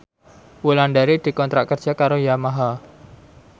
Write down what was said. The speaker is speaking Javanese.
Wulandari dikontrak kerja karo Yamaha